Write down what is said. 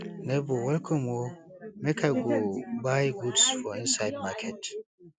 nebor welcome o make i go buy goods for inside market